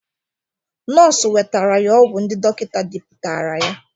Nọọsụ wetara ya ọgwụ ndi dọkịta depụtara ya.